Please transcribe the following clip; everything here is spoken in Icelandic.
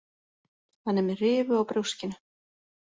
Hann er með rifu á brjóskinu.